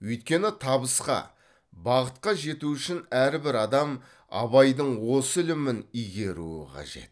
өйткені табысқа бақытқа жету үшін әрбір адам абайдың осы ілімін игеруі қажет